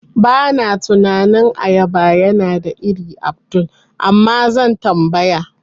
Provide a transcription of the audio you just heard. Bana tunanin ayaba yana da ire Abdul, Amma zan tambaya.